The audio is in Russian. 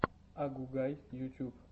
агугай ютьюб